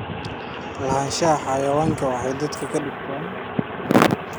Lahaanshaha xayawaanku waxay dadka ka dhigtaa halgan.